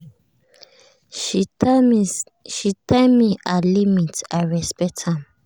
she tell me her limit i respect am.